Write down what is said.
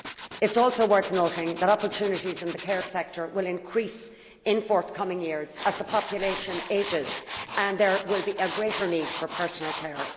It is also worth noting that opportunities in the care sector will increase in forthcoming years as the population ages and there is a greater need for personal care.